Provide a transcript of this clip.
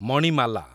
Manimala